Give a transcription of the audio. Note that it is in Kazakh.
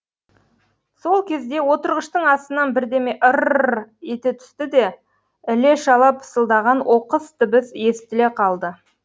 сол кезде отырғыштың астынан бірдеме ыр р ете түсті де іле шала пысылдаған оқыс дыбыс естіле қалды